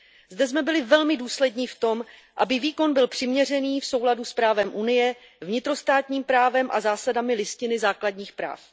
Zde jsme byli velmi důslední v tom, aby výkon byl přiměřený v souladu s právem Unie, vnitrostátním právem a zásadami Listiny základních práv.